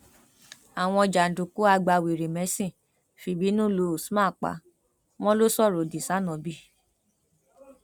àwọn jàǹdùkú agbawèrèmẹsìn fìbínú lu usman pa wọn lọ sọrọ odi sanóbì